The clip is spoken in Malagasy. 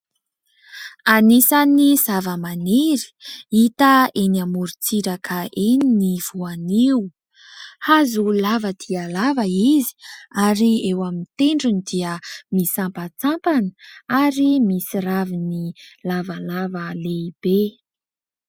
Anisan'ny zavamaniry hita eny amorontsiraka eny ny voanio. Hazo lava dia lava izy ary eo amin'ny tendrony dia misampatsampana ary misy raviny lavalava lehibe.